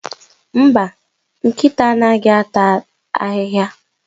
Mba, nkịta anaghịata ahịhịa?